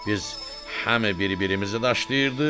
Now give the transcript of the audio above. Biz həm bir-birimizi daşlayırdıq.